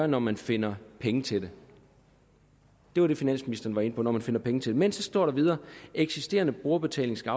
når man finder pengene til det det var det finansministeren var inde på når man finder pengene til det men så står der videre at eksisterende brugerbetaling skal